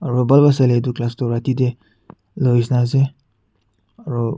aro bhal pa sailae tu class tu rati tae loishena ase aro--